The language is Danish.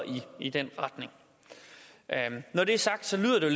i den retning når det er sagt lyder det